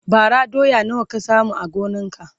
bara doya nawa ka samu a gonan ka?